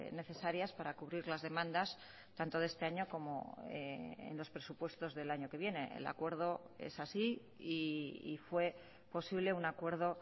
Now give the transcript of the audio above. necesarias para cubrir las demandas tanto de este año como en los presupuestos del año que viene el acuerdo es así y fue posible un acuerdo